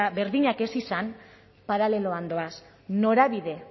berdinak ez izan paraleloan doaz norabide